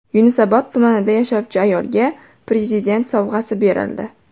Yunusobod tumanida yashovchi ayolga Prezident sovg‘asi berildi.